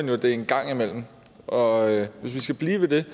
jo det er engang imellem og hvis vi skal blive ved det